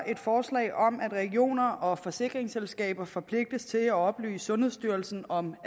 et forslag om at regioner og forsikringsselskaber forpligtes til at oplyse sundhedsstyrelsen om